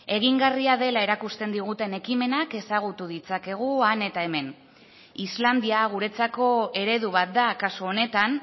egingarria dela erakusten diguten ekimenak ezagutu ditzakegu han eta hemen islandia guretzako eredu bat da kasu honetan